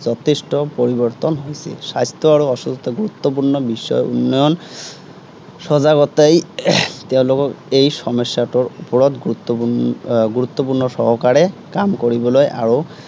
যথেষ্ট পৰিৱৰ্তন হৈছিল। স্বাস্থ্য় আৰু সুস্থতা অত্য়ন্ত গুৰুত্বপূৰ্ণ বিষয়। উন্নয়ন সজাগতাই তেওঁলোকক এই সমস্য়াটোৰ ওপৰত গুৰুত্বপূৰ্ণ এৰ গুৰুত্বপূৰ্ণ সহকাৰে কাম কৰিবলৈ আৰু